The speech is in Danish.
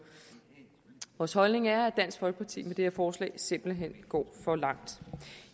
vores holdning er at dansk folkeparti med det her forslag simpelt hen går for langt